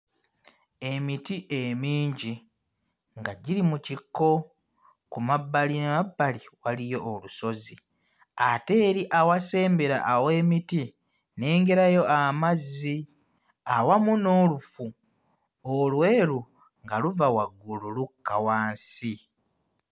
Emiti emingi nga giri mu kikko, ku mabbalimabbali waliyo obusozi ate eri awasembera aw'emiti nnengerayo amazzi awamu n'olufu olweru nga luva waggulu lukka wansi.